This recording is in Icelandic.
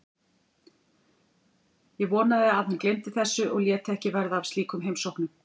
Ég vonaði að hann gleymdi þessu og léti ekki verða af slíkum heimsóknum.